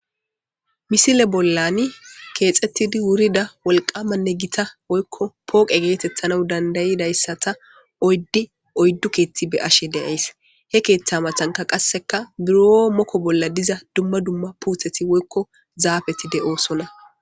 Misile bollani keexettidi wurida wolqamanne gita woykko pooqe geetettana dandayidayssata oyddi oyddu keetti be ashe deyays he keeththa matanka qasseka buro mokko bolla diza dumma dumma puutheti woykko zaabeti de7oosona.